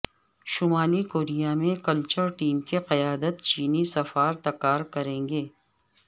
شمالی کوریا میں cultural team کی قیادت چینی سفارتکار کریں گے